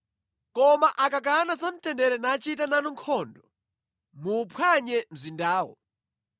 Koma akakana za mtendere nachita nanu nkhondo, muwuphwanye mzindawo.